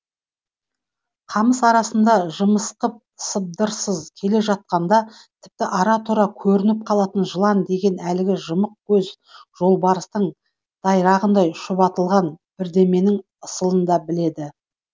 қамыс арасында жымысқып сыбдырсыз келе жатқанда тіпті ара тұра көрініп қалатын жылан деген әлгі жымық көз жолбарыстың дайрағындай шұбатылған бірдеменің ысылын да біледі